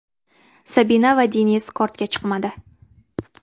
Sabina va Deniz kortga chiqmadi.